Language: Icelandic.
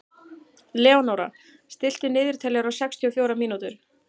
Leónóra, stilltu niðurteljara á sextíu og fjórar mínútur.